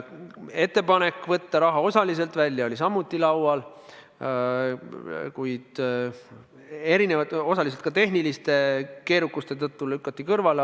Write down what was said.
Ettepanek võtta raha osaliselt välja oli samuti laual, kuid eri põhjustel, osaliselt ka tehniliste keerukuste tõttu lükati see kõrvale.